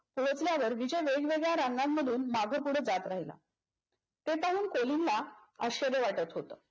ओळखल्यावर विजय वेगवेगळ्या रांगा मधून मागपुढ जात राहिला. ते पाहून कोलिनला आश्चर्य वाटत होत.